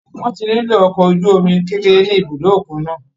Wọ́n ti nílò ọkọ̀ ojú omi kékeré ní ibùdó òkun náà.